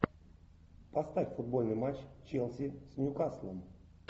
поставь футбольный матч челси с ньюкаслом